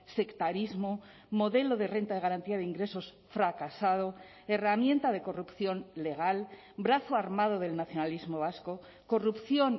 sectarismo modelo de renta de garantía de ingresos fracasado herramienta de corrupción legal brazo armado del nacionalismo vasco corrupción